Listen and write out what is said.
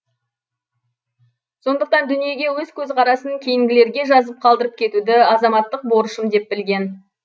сондықтан дүниеге өз көзқарасын кейінгілерге жазып қалдырып кетуді азаматтық борышым деп білген